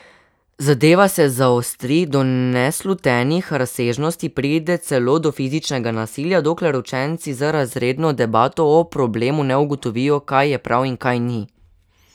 Zadeva se zaostri do neslutenih razsežnosti, pride celo do fizičnega nasilja, dokler učenci z razredno debato o problemu ne ugotovijo, kaj je prav in kaj ni.